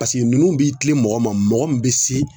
Paseke ninnu b'i kilen mɔgɔ ma, mɔgɔ min bɛ se